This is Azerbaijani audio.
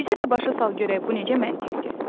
Bizi də başa sal görək bu necə məntiqdir.